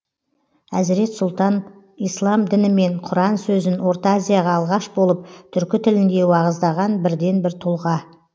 әзірет сұлтан ислам діні мен құран сөзін орта азияға алғаш болып түркі тілінде уағыздаған бірден бір тұлға